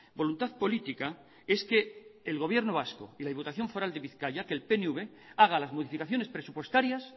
voluntad política es que el gobierno vasco y la diputación foral de bizkaia que el pnv haga las modificaciones presupuestarias